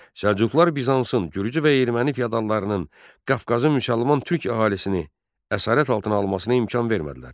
Səlcuqlar Bizansın, gürcü və erməni fyodallarının Qafqazın müsəlman türk əhalisini əsarət altına almasına imkan vermədilər.